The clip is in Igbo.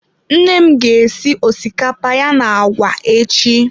Nne m ga esi osikapa ya na agwa echi.